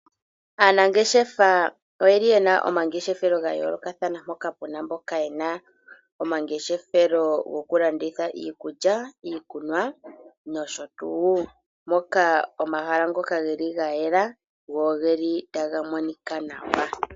Aanangeshefa oyeli yena omangeshefelo gayoolokathana mpono pena mboka yena omangeshefelo gokulanditha iikulya, iikunwa nosho tuu. Moka omahala ngoka geli gayela, go ogeli taga monika nawa.